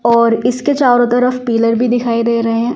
और इसके चारों तरफ पीलर भी दिखाई दे रहे हैं ।